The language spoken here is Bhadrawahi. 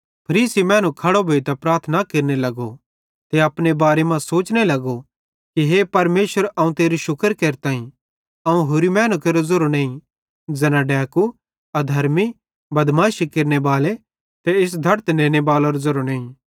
फरीसी मैनू खड़ो भोइतां प्रार्थना केरने ते अपने बारे मां सोचने लगो कि हे परमेशर अवं तेरू शुक्र केरताईं अवं होरि मैनू केरो ज़ेरो नईं ज़ैना डैकू अधर्मी बदमाशी केरनेबाले ते इस धड़त नेने बालेरो ज़ेरोईं नईं